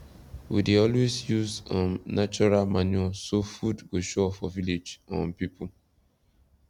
we dey always use um natural manure so food go sure for village um pipu